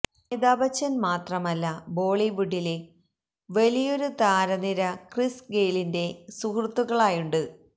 അമിതാഭ് ബച്ചന് മാത്രമല്ല ബോളിവുഡിലെ വലിയൊരു താരനിര ക്രിസ് ഗെയ്ലിന്റെ സുഹൃത്തുക്കളായുണ്ട്